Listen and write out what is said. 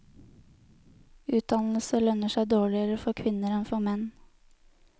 Utdannelse lønner seg dårligere for kvinner enn for menn.